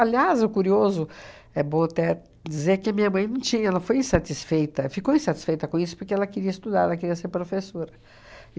o curioso é bom até dizer que a minha mãe não tinha, ela foi insatisfeita, ficou insatisfeita com isso porque ela queria estudar, ela queria ser professora.